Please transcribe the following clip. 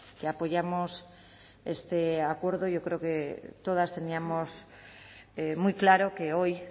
que apoyamos este acuerdo y yo creo que todas teníamos muy claro que hoy